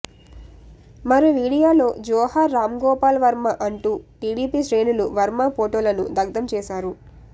మరో వీడియోలో జోహార్ రాంగోపాల్ వర్మ అంటూ టీడీపీ శ్రేణులు వర్మ ఫోటోలను దగ్దం చేశారు